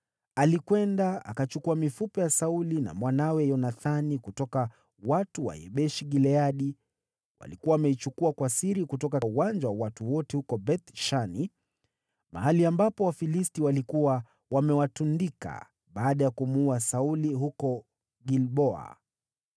alikwenda akachukua mifupa ya Sauli na mwanawe Yonathani kutoka kwa watu wa Yabeshi-Gileadi. (Walikuwa wameichukua kwa siri kutoka uwanja wa watu wote huko Beth-Shani, mahali ambapo Wafilisti walikuwa wamewatundika baada ya kumuua Sauli huko Gilboa.)